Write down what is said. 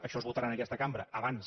això es votarà en aquesta cambra abans